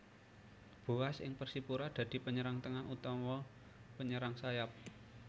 Boaz ing Persipura dadi penyerang tengah utawa penyerang sayap